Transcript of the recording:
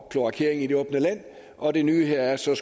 kloakering i det åbne land og det nye her er så